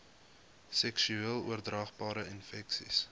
seksueel oordraagbare infeksies